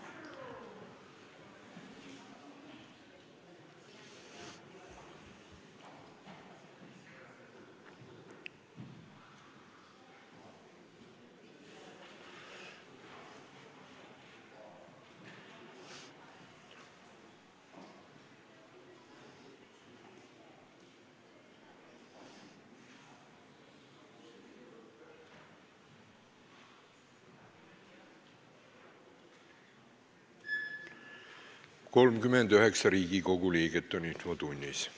Kohaloleku kontroll 39 Riigikogu liiget on infotunnis.